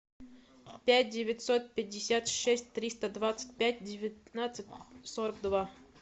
пять девятьсот пятьдесят шесть триста двадцать пять девятнадцать сорок два